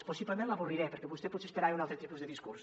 possiblement l’avorriré perquè vostè potser esperava un altre tipus de discurs